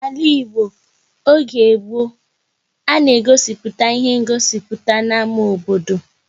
N'ala Igbo oge gboo, a na-egosi ihe nziputa n'ámá obodo